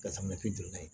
Ka samiyɛ jɔ n'a ye